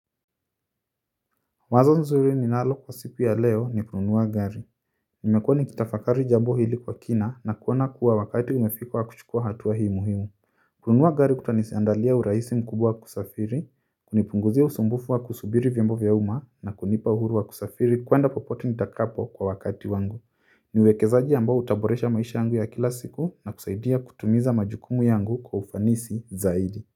Wazo nzuri ninalo kwa siku ya leo ni kununua gari nimekuwa nikitafakari jambo hili kwa kina na kuona kuwa wakati umefika wa kuchukua hatua hii muhimu kununua gari kutaniandalia urahisi mkubwa kusafiri, kunipunguzia usumbufu wa kusubiri vyombo vya uma na kunipa uhuru wa kusafiri kwenda popote nitakapo kwa wakati wangu ni uwekezaji ambao utaboresha maisha yangu ya kila siku na kusaidia kutimiza majukumu yangu kwa ufanisi zaidi.